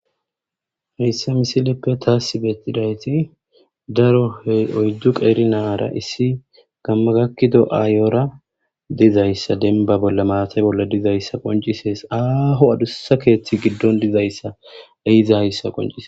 Heysa missileppe tas betidayti daro oyidu qeri na'ara issi gama gakido aayora dizaysa demba bola mathe bola dizaysa qonc'ises aho adusa kethi gidon dizaysa ehizaysa qonc'ses.